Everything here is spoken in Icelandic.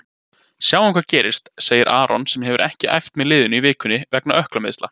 Sjáum hvað gerist, segir Aron sem hefur ekki æft með liðinu í vikunni vegna ökklameiðsla.